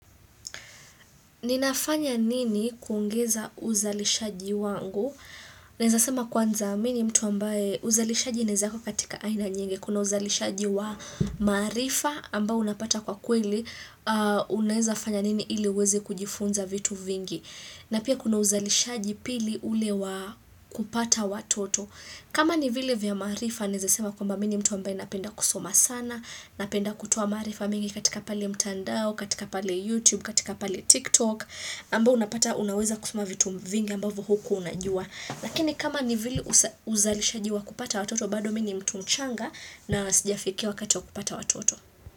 Ninafanya nini kuungeza uzalishaji wangu? Naeza sema kwanza mini mtu ambaye uzalishaji inezako katika aina nyingi. Kuna uzalishaji wa marifa ambao unapata kwa kweli. Unaeza fanya nini ili uweze kujifunza vitu vingi. Na pia kuna uzalishaji pili ulewa kupata watoto. Kama ni vile vya maarifa naeza sema kwamba mimi mtu ambaye napenda kusoma sana. Napenda kutoa maarifa mengi katika pale mtandao, katika pale YouTube, katika pale TikTok ambo unapata unaweza kusuma vitu mvingi ambavu huku unajua Lakini kama nivili uzalisha jiwa kupata watoto bado mingi mtunchanga na nasijafikiwa kato kupata watoto.